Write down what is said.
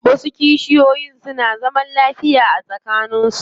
Wasu kishiyoyin suna zaman lafiya tsakanin su.